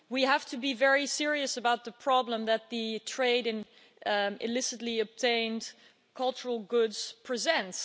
We have to be very serious about the problem that the trade in illicitly obtained cultural goods presents.